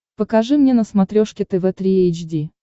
покажи мне на смотрешке тв три эйч ди